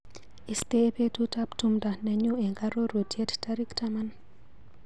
Istee betutap tumdo nenyu eng arorutiet tarik taman.